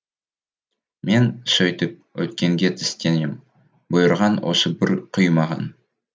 мен сөйтіп өткенге тістенем бұйырған осы бір күй маған